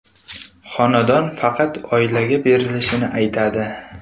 Xonadon faqat oilaga berilishini aytadi.